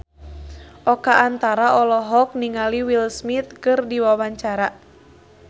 Oka Antara olohok ningali Will Smith keur diwawancara